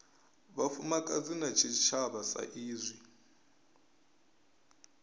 vhufumakadzi na tshitshavha sa izwi